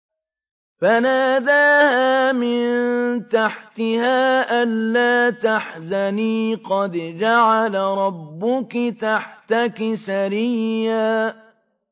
فَنَادَاهَا مِن تَحْتِهَا أَلَّا تَحْزَنِي قَدْ جَعَلَ رَبُّكِ تَحْتَكِ سَرِيًّا